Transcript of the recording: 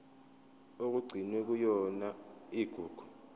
okugcinwe kuyona igugu